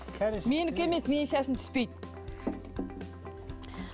менікі емес менің шашым түспейді